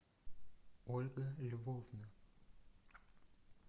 ольга львовна